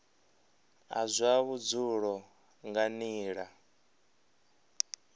a zwa vhudzulo nga nila